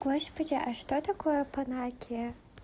господи а что такое панагия